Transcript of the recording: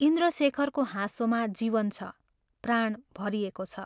इन्द्रशेखरको हाँसोमा जीवन छ, प्राण भरिएको छ।